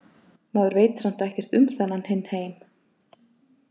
Maður veit samt ekkert um þennan hinn heim.